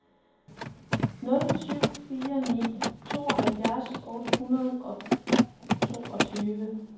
nul syv fire ni tooghalvfjerds otte hundrede og toogtyve